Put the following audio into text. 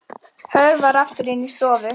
Hörfar aftur inn í stofu.